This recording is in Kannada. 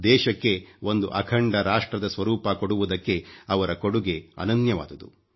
ದೇಶಕ್ಕೆ ಒಂದು ಅಖಂಡ ರಾಷ್ಟ್ರದ ಸ್ವರೂಪ ಕೊಡುವುದಕ್ಕೆ ಅವರ ಕೊಡುಗೆ ಅನನ್ಯವಾದುದು